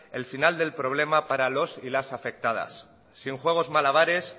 el final del problema para los y las afectadas sin juegos malabares